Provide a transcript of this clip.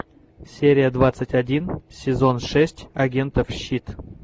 серия двадцать один сезон шесть агентов щит